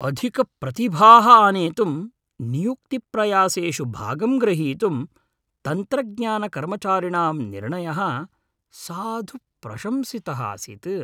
अधिकप्रतिभाः आनेतुं नियुक्तिप्रयासेषु भागं ग्रहीतुं तन्त्रज्ञानकर्मचारिणां निर्णयः साधु प्रशंसितः आसीत्।